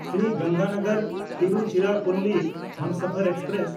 Shri ᱜᱚᱝᱜᱟᱱᱚᱜᱚᱨ–ᱛᱤᱨᱩᱪᱤᱨᱟᱯᱯᱚᱞᱞᱤ Humsafar express